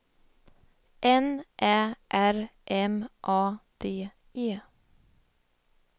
N Ä R M A D E